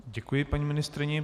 Děkuji paní ministryni.